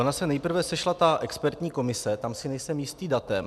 Ona se nejprve sešla ta expertní komise, tam si nejsem jistý datem.